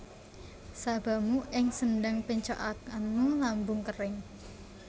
Sabamu ing sendhang péncokanmu lambung kéring